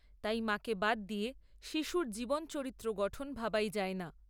তাই মাকে বাদ দিয়ে শিশুর জীবন চরিত্র গঠন ভাবাই যায় না।